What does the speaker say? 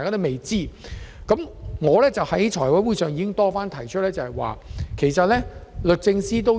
就此，我已在財委會會議上多番建議律政司考